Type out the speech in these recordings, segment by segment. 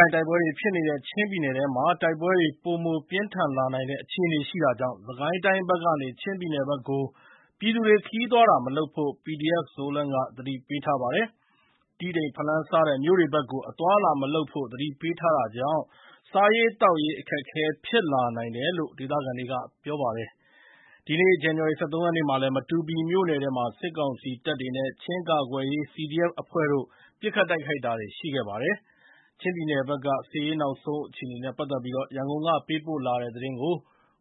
င်တိုက်ပွဲတွေဖြစ်နေတဲ့ ချင်းပြည်နယ်ထဲမှာ တိုက်ပွဲတွေ ပိုပြင်းထန်လာနိုင်တဲ့ အခြေအနေရှိနေတာကြောင့် စစ်ကိုင်းတိုင်းဘက်ကနေ ချင်းပြည်နယ်ဘက်ကို ပြည်သူတွေ ခရီးသွားတာမလုပ်ဖို့ PDF-Zoland ကသတိပေးထားပါတယ်။ တီးတိန်၊ ဖလမ်းစတဲ့မြို့တွေ ဘက်ကို အသွားအလာမလုပ်ဖို့ သတိပေးထားတာကြောင့် စားရေးသောက်ရေး အခက်အခဲ ဖြစ်လာနိုင်တယ်လို့ ဒေသခံတွေက ပြောပါတယ်။ ဒီနေ့ ဇန်နဝါရီ ၁၃ ရက်နေ့မှာလည်း မတူပီမြို့နယ်ထဲမှာ စစ်ကောင်စီတပ်တွေနဲ့ ချင်းကာကွယ်ရေးCDF အဖွဲ့တို့ ပစ်ခတ်တိုက် ခိုက်တာတွေရှိခဲ့ပါတယ်။ ချင်းပြည်နယ်ဘက် စစ်ရေးနောက်ဆုံး အခြေအနေ ရန်ကုန်ကပေးပို့လာတဲ့သတင်းကို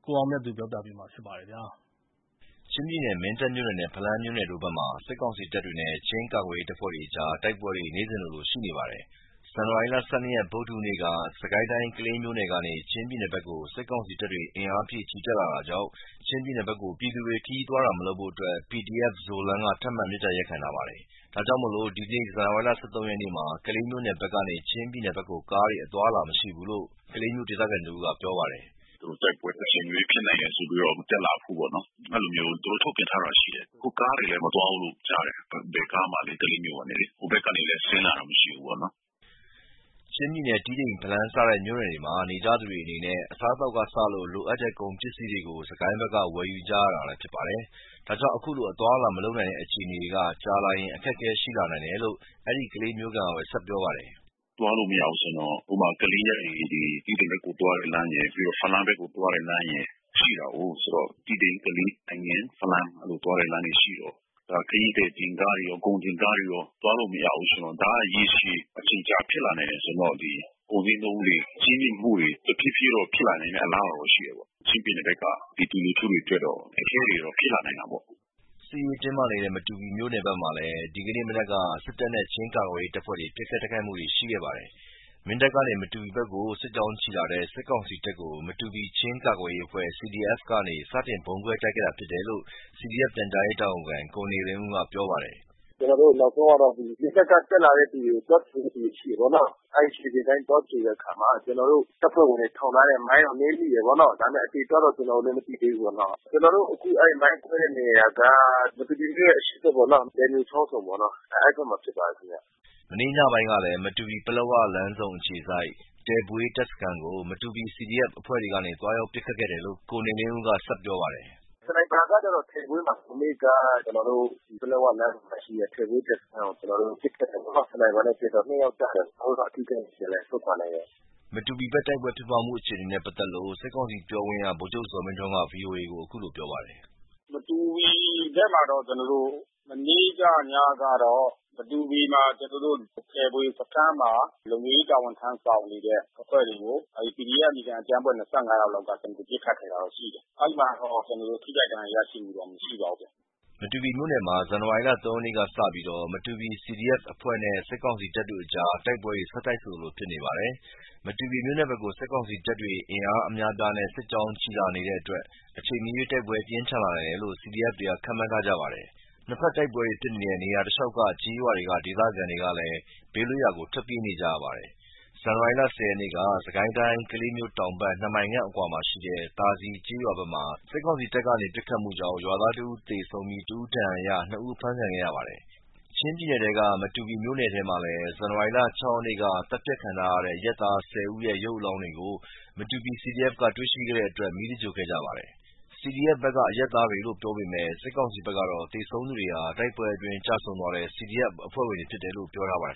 ကိုအောင်မြတ်သူက တင်ပြပေးထားပါတယ်။ ချင်းပြည်နယ်၊ မင်းတပ်မြို့နယ်နဲ့ ဖလမ်းမြို့နယ်တို့ဘက်မှာ စစ်ကောင်စီတပ်နဲ့ ချင်းကာကွယ်ရေးအဖွဲ့တွေကြား တိုက်ပွဲတွေ နေ့စဉ်လို ရှိနေပါတယ်။ ဇန်နဝါရီလ ၁၂ ရက် ဗုဒ္ဓဟူးနေ့ က စစ်ကိုင်းတိုင်း ကလေးမြို့ကနေ ချင်းပြည်နယ်ဘက်ကို စစ်ကောင်စီ တပ်တွေ အင်အားဖြည့်ချီတက်လာတာကြောင့် ချင်းပြည်နယ်ဘက်ကိုပြည်သူတွေခရီးသွားလာတာမလုပ်ဖို့PDF-Zoland က ထပ်မံ မေတ္တာရပ်ခံထားပါတယ်။ ဒါကြောင့် ဒီနေ့ ဇန်နဝါရီ ၁၃ ရက်မှာ ကလေးမြို့နယ်ဘက်ကနေ ချင်းပြည်နယ် ဘက်ကို ကားတွေ အသွားလာမရှိဘူးလို့ ကလေးမြို့ခံတဦးက ပြောပါတယ်။ “တိုက်ပွဲအချိန်မရွေးဖြစ်လာနိုင်တယ်ဆိုပြီးတော့ မတက်လာဖို့နော်၊ အဲဒီလိုမျိုး သူတို့ထုတ်ပြန်တာတော့ရှိတယ်။ အခုကားတွေလည်း မသွားဘူးလို့ကြားတယ်။ ဘယ်ကားမှလည်း ကလေးမြို့ကနေလေ-ဟိုဘက်ကနေလည်း ဆင်းလာတာမရှိဘူးပေါ့နော်။” ချင်းပြည်နယ် တီးတိန်၊ ဖလမ်း စတဲ့မြို့နယ်တွေမှာ နေကြသူတွေအနေနဲ့ အစားအသောက် ကစလို့ လိုအပ်တဲ့ ကုန်ပစ္စည်းတွေကိုစစ်ကိုင်းတိုင်းဘက်က ဝယ်ယူကြရတာဖြစ်ပါတယ်။ ဒါကြောင့် ခုလို အသွားအလာ မလုပ်နိုင်တဲ့ အခြေအနေကြာလာရင် အခက်ခဲရှိလာနိုင်တယ်လို့ အဲဒီကလေးမြို့ခံကပဲ ဆက်ပြောပါတယ်။ “သွားလို့မရဘူးဆိုရင်တော့- ကလေးကနေ တီးတိန်ဘက်ကိုသွားတဲ့လမ်းရယ်၊ ပြီးတော့ ဖလမ်းဘက်ကိုသွားတဲ့လမ်းရယ် ရှိတာကိုး။... ဆိုတော့ တီးတိန်၊ ကလေး၊ သိုင်ငင်း၊ ဖလမ်း-သွားတဲ့လမ်းတွေရှိတော့ ခရီးသည်တင်ကားတွေရော ကုန်တင်ကားတွေရော သွားလို့ မရဘူးဆိုတော့- ဒါကရေရှည် အချိန်ကြာဖြစ်လာနိုင်တယ်ဆိုတော့ ကုန်ဈေးနှုန်း ကြီးမြင့်မှုတွေ တဖြေးဖြေးဖြစ်လာနိုင်တဲ့ အလားလာတော့ရှိတာပေါ့လေ။ ချင်းပြည်နယ်ဘက်က ပြည်သူလူထုတွေ အခက်ခဲတွေတော့ဖြစ်လာနိုင်တယ်ပေါ့။” စစ်ရေးတင်းမာနေတဲ့ မတူပီမြို့နယ်ဘက်မှာလည်း ဒီနေ့မနက်က စစ်တပ်နဲ့ ချင်းကာကွယ်ရေးအဖွဲ့တွေ ပစ်ခတ်တိုက်ခိုက်မှုတွေ ရှိခဲ့ပါတယ်။ မင်းတပ်ကနေ မတူပီဘက်ကို စစ်ကြောင်းချီလာတဲ့ စစ်ကောင်စီတပ်ကို မတူပီ ချင်းကာကွယ်ရေး အဖွဲ့ CDF ကနေ စတင်ဗုံးခွဲတိုက်ခိုက်ခဲ့တာလို့ CDF ပြန်ကြားရေးတာဝန်ခံ ကိုနေဦးလင်းက ပြောပါတယ်။ “နောက်ဆုံးကတော့နစကတက်လာတဲ့အချိန် သွားကြိုတဲ့သူရှိတာပေါ့နော်။ အဲဒီ ခြေလျင် တပ်ရင်း သွားကြိုတဲ့အခါမှာကျနော်တို့တပ်ဖွဲ့ဝင်တွေ ထောင်ထားတဲ့မိုင်းကို နင်းမိတာပေါ့နော။ ဒါပေမယ့် အသေအပျောက်တော့ ကျနော်တို့ မသိသေးဘူးပေါ့နော။ အခု မိုင်းခွဲတဲ့နေရာက မတူပီမြို့ရဲ့အရှေ့ဘက်ပေါ့နော။ လည်မြိုချောင်းဆုံပေါ့နော်။ အဲဒီဘက်မှာဖြစ်ပါ တယ်ခင်ဗျ။” မနေ့ညနေပိုင်းကလည်း မတူပီ-ပလက်ဝလမ်းဆုံအခြေစိုက် တယ်ဘွေးတပ်စခန်းကိုမတူပီ CDF အဖွဲ့တွေကနေ သွားရောက်ပစ်ခတ်ခဲ့တယ်လို့ ကိုနေလင်းဦးက ဆက်ပြောပါတယ်။ “စနိုက်ပါနဲ့ကတော့ တယ်ဘွေးမှာ။ မနေ့က ပလက်ဝလမ်းဆုံမှာရှိတဲ့ တယ်ဘွေးတပ်စခန်းကို ကျနော်တို့ ပစ်ခတ်တာပေါ့နော်။ စနိုက်ပါနဲ့ပစ်တော့ ယောက်ကျတယ်။ ကျနော်တို့ဘက်ကတော့အထိခိုက်မရှိဘူး။ ပြန်လည်ဆုတ်ခွါ နိုင်တယ်။” မတူပီဘက်တိုက်ပွဲဖြစ်ပွါးမှုအခြေအနေနဲ့ပတ်သက်လို့ စစ်ကောင်စီပြောခွင့်ရ ဗိုလ်ချုပ်ဇော်မင်းထွန်းက ဗွီအိုအေကို အခုလိုပြောပါတယ်။ “မတူပီဘက်မှာတော့ မနေ့ညကတော့ တယ်ဘွေစခန်းမှာ လုံခြုံရေးတာဝန်ထမ်းဆောင် နေတဲ့ အဖွဲ့တွေကို အဲဒီ CDF အမည်ခံ အကြမ်းဖက်အဖွဲ့ဝင် ယောက်လောက်က ပစ်ခတ်ခဲ့တာတော့ရှိတယ်။ အဲဒီမှာတော့ ထိခိုက်ဒဏ်ရာရရှိမှုတော့ မရှိပါဘူး။” မတူပီမြို့နယ်မှာ ဇန်နဝါရီလ ၃ ရက်နေ့ကစပြီးမတူပီ CDF အဖွဲ့နဲ့ စစ်ကောင်စီတပ်တို့ကြား တိုက်ပွဲ ဆက်တိုက်ဆိုသလို ဖြစ်နေပါတယ်။ မတူပီမြို့နယ်ဘက်ကို စစ်ကောင်စီတပ်တွေ အင်အားအများအပြားနဲ့ စစ်ကြောင်းချီလာနေတဲ့အတွက် အချိန်မရွေး တိုက်ပွဲပြင်းထန်လာနိုင်တယ်လို့ CDF တွေဘက်က ခန့်မှန်းထားကြပါတယ်။ နှစ်ဘက်တိုက်ပွဲတွေဖြစ်နေတဲ့ နေရာတလျှောက် ကျေးရွာတွေက ဒေသခံတွေလည်း ဘေးလွတ်ရာ ထွက်ပြေးနေကြရပါတယ်။ ဇန်နဝါရီလ ၁၀ ရက်နေ့က စစ်ကိုင်းတိုင်း ကလေးမြို့တောင်ဘက် နှစ်မိုင်ခန့်အကွာမှာရှိတဲ့ သာစည်ကျေးရွာဘက်မှာ စစ်ကောင်စီတပ်ကနေ ပစ်ခတ်မှုကြောင့် ရွာသားတဦးသေဆုံး၊ တဦးဒဏ်ရာရပြီး နှစ်ဦးဖမ်းဆီးခံခဲ့ရပါ တယ်။ ချင်းပြည်နယ်က မတူပီမြို့နယ်မှာလည်း ဇန်နဝါရီလ ၆ ရက်က သတ်ဖြတ်ခံထားရတဲ့ အရပ်သား ၁၀ ဦးအလောင်းကို မတူပီ CDF ဘက် က တွေ့ရှိခဲ့တဲ့အတွက် မီးသဂြိုဟ်ခဲ့ကြပါတယ်။ CDF ဘက်က အရပ်သားတွေလို့ ပြောပေမဲ့ စစ်ကောင်စီဘက်ကတော့ သေဆုံးသူတွေဟာ တိုက်ပွဲအတွင်းကျဆုံးသွားတဲ့ CDF အဖွဲ့ဝင်တွေလို့ ပြောထားပါတယ်